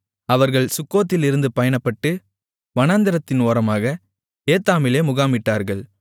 அவர்கள் சுக்கோத்திலிருந்து பயணப்பட்டு வனாந்திரத்தின் ஓரமாக ஏத்தாமிலே முகாமிட்டார்கள்